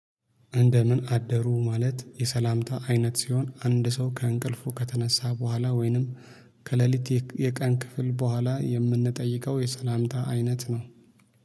እንደምን አደሩ ማለት የሰላምታ አይነት ሲሆን አንድ ሰው ከእንቅልፉ ከተነሳ በኋላ ወይንም ከሌሊት የቀን ክፍል በኋላ የምንጠይቀው የሰላምታ አይነት ነው